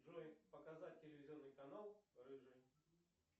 джой показать телевизионный канал рыжий